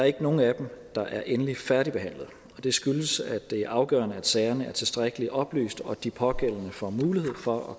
ikke nogen af dem der er endeligt færdigbehandlet og det skyldes at det er afgørende at sagerne er tilstrækkelig oplyst og at de pågældende får mulighed for at